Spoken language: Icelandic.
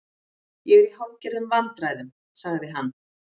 Ég er í hálfgerðum vandræðum- sagði hann.